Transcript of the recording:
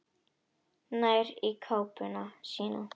Nær í kápuna sína.